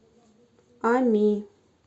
ами